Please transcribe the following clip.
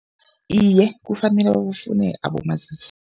Iye, kufanele babafune abomazisi.